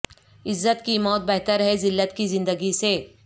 عزت کی موت بہتر ہے زلت کی ذندگی سے